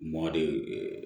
Mɔ de